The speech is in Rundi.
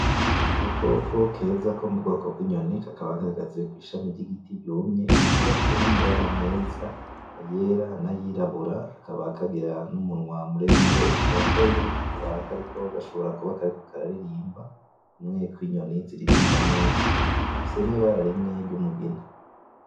Agakoko keza ko mubwoko bwinyoni kandi kakaba gahagaze kwishami yigiti ryumye, kakaba gafise namabara meza, ayera nayirabura, kakaba kagira numunwa muremure usongoye, kakaba kariko gashobora kuba kariko kara ririmba kumwe kwinyoni ziririmba neza, gafise nibara rimwe ryumugina